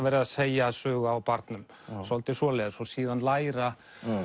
verið að segja sögu á barnum svolítið svoleiðis og síðan læra